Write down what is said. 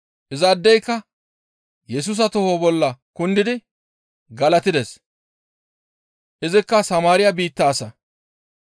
Izaadeyka Yesusa toho bolla kundidi galatides; izikka Samaariya biitta asa.